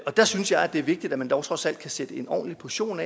der synes jeg at det er vigtigt at man dog trods alt kan sætte en ordentlig portion